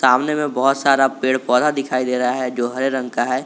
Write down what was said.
सामने में बहुत सारा पेड़ पौधा दिखाई दे रहा है जो हरे रंग का है।